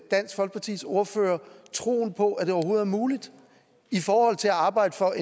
dansk folkepartis ordfører troen på at det overhovedet er muligt i forhold til at arbejde for